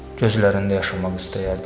Gözlərində yaşamaq istəyərdim.